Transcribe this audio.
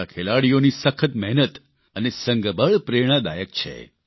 આપણા ખેલાડીઓની સખત મહેનત અને સંઘબળ પ્રેરણાદાયક છે